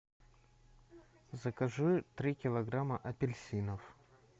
закажи три килограмма апельсинов